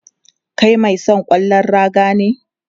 Kai mai son ƙwallon raga ne?